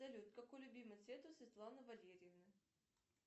салют какой любимый цвет у светланы валерьевны